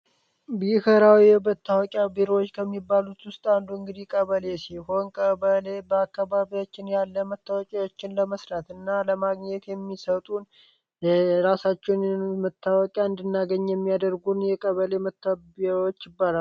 ቢሄራዊ የበታወቂያ ብሮዎች ከሚባሉት ውስጥ አንዱ እንግዲ ቀበሌ ሲ ሆን ቀበሌ በአካባቢዎችን ያለ መታወቂዎችን ለመስራት እና ለማግኘት የሚሰጡን ራሳቸውን የኖ መታወቂያ እንድናገኝ የሚያደርጉን የቀበሌ መታብዎች ይባላል።